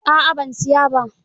A'a ban siya ba.